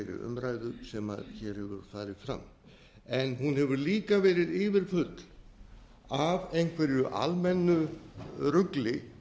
umræðu sem hér hefur farið fram en hún hefur líka verið yfirfull af einhverju almennu rugli